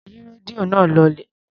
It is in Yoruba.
Yí rédíò náà lọlẹ̀.